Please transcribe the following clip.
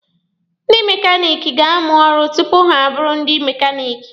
Ndị mekaniki ga-amụ ọrụ tupu ha abụrụ ndị mekaniki.